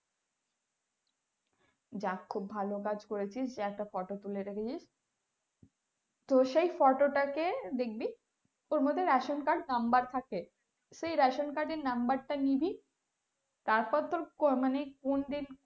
যাক খুব ভালো কাজ করে রেখেছিস যে একটা photo তুলে রেখেছিস তো সেই photo টা কে দেখবি ওর মধ্যে ration card number থাকে সেই ration card number টা নিবি তারপর তোর মানে কোন দিক,